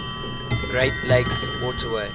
great lakes waterway